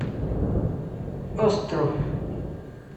остров